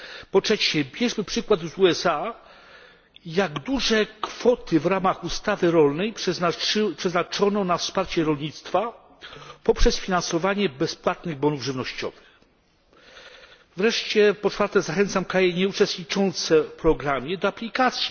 Po trzecie, bierzmy przykład z USA jak duże kwoty w ramach ustawy rolnej przeznaczono na wsparcie rolnictwa poprzez finansowanie bezpłatnych bonów żywnościowych. Wreszcie po czwarte, zachęcam kraje nieuczestniczące w programie do aplikacji.